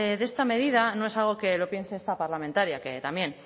de esta medida no es algo que lo piense esta parlamentaria que también